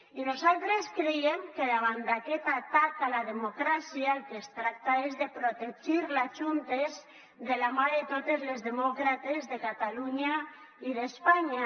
i nosaltres creiem que davant d’aquest atac a la democràcia del que es tracta és de protegir la juntes de la mà de totes les demòcrates de catalunya i d’espanya